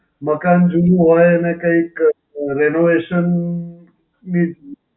મકાન જૂનું હોય અને કઈંક renovation ની